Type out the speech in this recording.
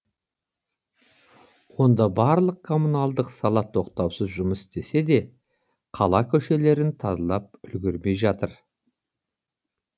онда барлық коммуналдық сала тоқтаусыз жұмыс істесе де қала көшелерін тазалап үлгермей жатыр